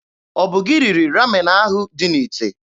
Ọ bụ gị riri Ramen ahụ dị n'ite?